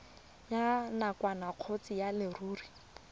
ya nakwana kgotsa ya leruri